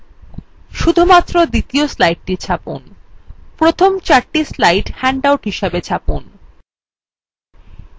শুধুমাত্র দ্বিতীয় slide ছাপুন প্রথম চারটি slide handout হিসাবে ছাপুন